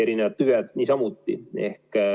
Erinevad tüved niisamuti.